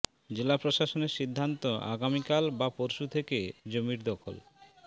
জেলা প্রশাসনের সিদ্ধান্ত আগামিকাল বা পরশু থেকে জমির দখল